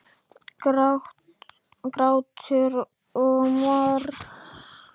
Grátur og mar.